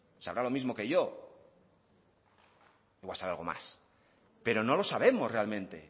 sabrá lo mismo que yo o sabe algo más pero no lo sabemos realmente